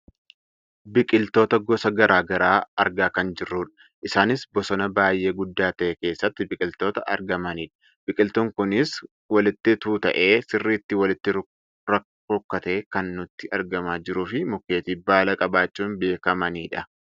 Biqiltoota gosa gara garaa argaa kan jirrudha. Isaanis bosona baayyee guddaa ta'e keessatti biqiltoota argamanidha. Biqiltuun kunis walitti tuuta'ee sirriitti walitti rukkatee kan nutti argamaa jiruufi mukeetii baala qabaachuun beekkamanidha.